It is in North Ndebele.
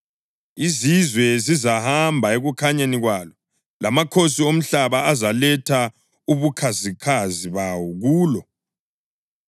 Izizwe zizahamba ekukhanyeni kwalo lamakhosi omhlaba azaletha ubukhazikhazi bawo kulo.